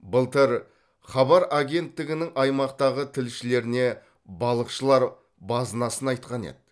былтыр хабар агенттігінің аймақтағы тілшілеріне балықшылар базынасын айтқан еді